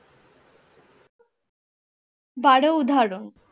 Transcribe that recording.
দারো উদাহরণ